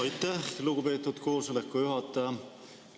Aitäh, lugupeetud koosoleku juhataja!